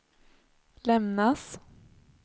lämnas